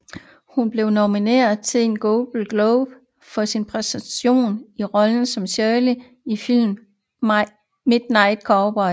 Hun blev nomineret til en Golden Globe for sin præstation i rollen som Shirley i filmen Midnight Cowboy